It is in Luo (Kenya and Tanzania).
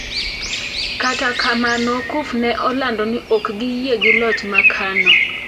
Kata kamano Cuf ne olando ni ok giyie gi loch makano.